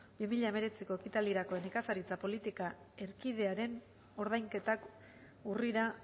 bi mila hemeretziko ekitaldirako nekazaritza politika erkidearen ordainketak urrira